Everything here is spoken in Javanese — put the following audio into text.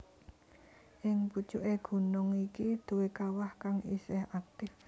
Ing pucuké gunung iki duwé kawah kang isih aktif